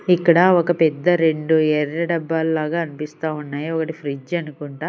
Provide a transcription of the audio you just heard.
ఇక్కడ ఒక పెద్ద రెండు ఎర్ర డబ్బాలు లాగా అనిపిస్తా ఉన్నాయి ఒకటి ఫ్రిడ్జ్ అనుకుంటా.